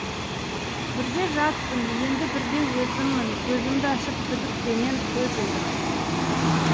бірде жатпын енді бірде өзіммін көзімді ашып күдікпенен көз ілдім